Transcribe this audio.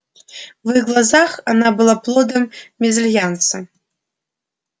в их глазах она была плодом мезальянса